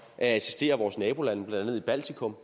at assistere vores nabolande blandt andet i baltikum